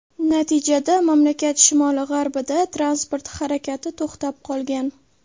Natijada mamlakat shimoli-g‘arbida transport harakati to‘xtab qolgan.